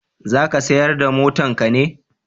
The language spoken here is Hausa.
za ka sayar da motan ka ne?